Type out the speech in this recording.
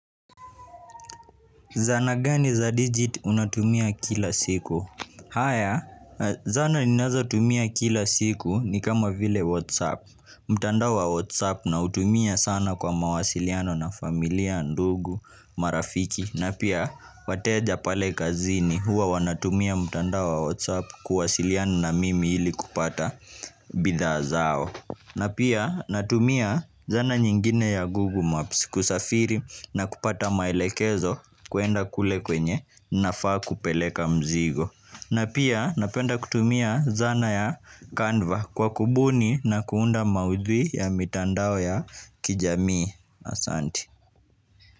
Zana gani za digit unatumia kila siku? Haya, zana ninazotumia kila siku ni kama vile Whatsapp. Mtandao wa Whatsapp nautumia sana kwa mawasiliano na familia, ndugu, marafiki. Na pia, wateja pale kazini huwa wanatumia mtandao wa Whatsapp kuwasiliana na mimi ili kupata bidhaa zao. Na pia natumia zana nyingine ya Google Maps kusafiri na kupata maelekezo kwenda kule kwenye nafaa kupeleka mzigo na pia napenda kutumia zana ya Canva kwa kubuni na kuunda maudhui ya mitandao ya kijamii asanti.